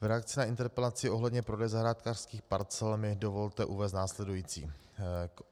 V reakci na interpelaci ohledně prodeje zahrádkářských parcel mi dovolte uvést následující.